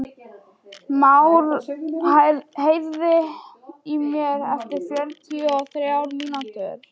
Már, heyrðu í mér eftir fjörutíu og þrjár mínútur.